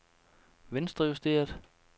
venstrejusteret